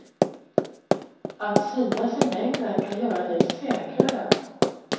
Att synas i mängden kan göra dig säkrare.